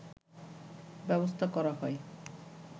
ব্যবস্থা করা হয়